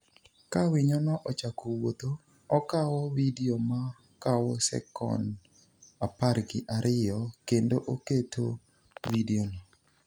Ka winyono ochako wuotho, okawo vidio ma kawo sekon apargi ariyo kendo oketo vidiono.